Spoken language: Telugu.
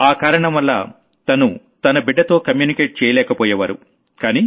ఆ కారణం వల్ల తను తన బిడ్డతో కమ్యూనికేట్ చేయలేకపోయేవారు